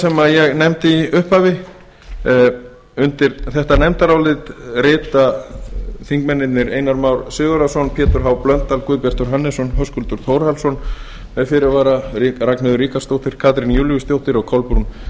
sem ég nefndi í upphafi undir þetta nefndarálit rita þingmennirnir einar már sigurðarson pétur h blöndal guðbjartur hannesson höskuldur þórhallsson með fyrirvara ragnheiður ríkharðsdóttir katrín júlíusdóttir og kolbrún